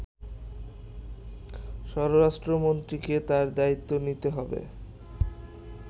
স্বরাষ্ট্রমন্ত্রীকেই তার দায়িত্ব নিতে হবে